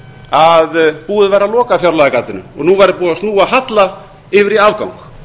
að búið væri að loka fjárlagagatinu og nú væri búið að snúa halla yfir í afgang